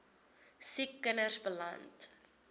siek kinders beland